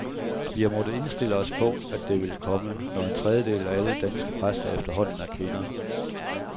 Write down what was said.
Vi har måttet indstille os på, at det ville komme, når en tredjedel af alle danske præster efterhånden er kvinder.